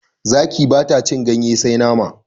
Zaki bata cin ganye sai nama